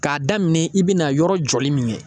K'a daminɛ i bɛna yɔrɔ jɔli min kɛ